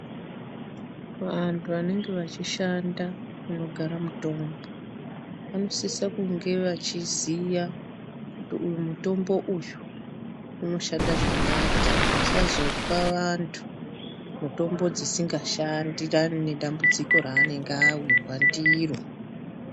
Vanhu vanenge vachishanda munogara mitombo vanosise kunge vachiziya kuti uyu mutombo uyu unoshanda chakati vasazopa vanhu mitombo dzisingashandirani nedambudziko ravanenge vawirwa ndiro.